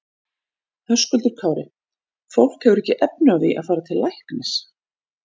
Höskuldur Kári: Fólk hefur ekki efni á því að fara til læknis?